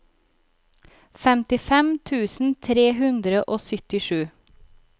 femtifem tusen tre hundre og syttisju